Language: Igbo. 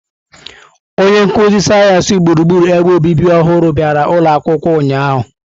Onye nkuzi sayensị gburugburu ebe obibi ọhụrụ bịara ụlọ akwụkwọ ụnyahụ.